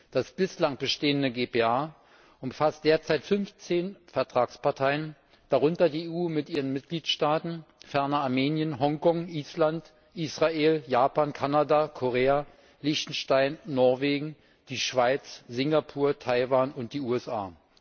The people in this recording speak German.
Das bislang bestehende GPA umfasst derzeit 15 Vertragsparteien, darunter die EU mit ihren Mitgliedstaaten, ferner Armenien, Hongkong, Island, Israel, Japan, Kanada, Korea, Lichtenstein, Norwegen, die Schweiz, Singapur, Taiwan und die USA.